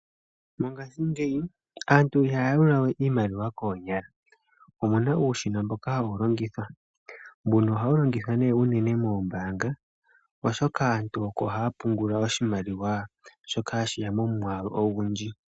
Mongashingeyi aantu ihaya yalula we iimaliwa koonyala opuna uushina mboka hawu longithwa, ohawu longithwa nee unene moombaanga oshoka aantu oko haa pungula oshimaliwa shoka hashiya momwaalu ogundji.